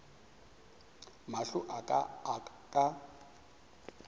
mahlo a ka a ka